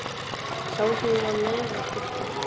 Sá sem ég var með var giftur.